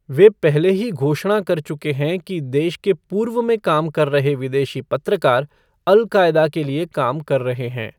वे पहले ही घोषणा कर चुके हैं कि देश के पूर्व में काम कर रहे विदेशी पत्रकार, अल कायदा के लिए काम कर रहे हैं।